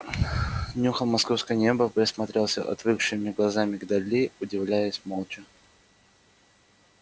нюхал московское небо присматривался отвыкшими глазами к дали удивлялся молча